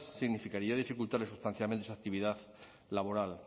significaría dificultarles sustancialmente su actividad laboral